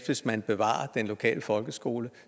hvis man bevarer den lokale folkeskole